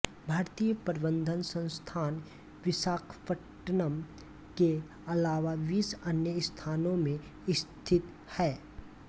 भारतीय प्रबंधन संस्थान विशाखपट्नम के अलावा बीस अन्य स्थानों में स्थित है